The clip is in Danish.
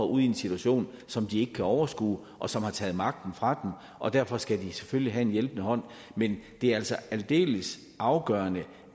ude i en situation som de ikke kan overskue og som har taget magten fra og derfor skal de selvfølgelig have en hjælpende hånd men det er altså aldeles afgørende